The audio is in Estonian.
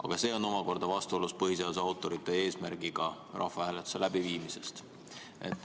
Aga see on omakorda vastuolus põhiseaduse autorite eesmärgiga rahvahääletuse läbiviimise käsitlemisel.